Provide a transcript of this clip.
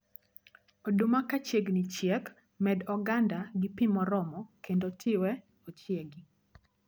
Oduma kachiegni chiek, med oganda gi pii moromo kendo tiwe machiegi